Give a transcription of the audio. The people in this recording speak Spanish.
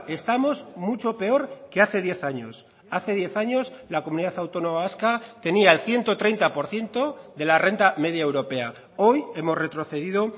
estamos mucho peor que hace diez años hace diez años la comunidad autónoma vasca tenía el ciento treinta por ciento de la renta media europea hoy hemos retrocedido